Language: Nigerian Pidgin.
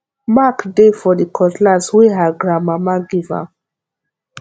mark dey for the cutlass wey her grandmama give am